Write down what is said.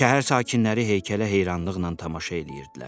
Şəhər sakinləri heykələ heyranlıqla tamaşa eləyirdilər.